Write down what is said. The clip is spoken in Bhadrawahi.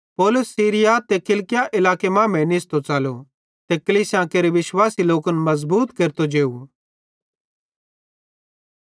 पौलुस सीरिया ते किलिकिया इलाकन मांमेइं निस्सो च़लतो ते कलीसियां केरे विश्वासी लोकन मज़बूत केरतो जेव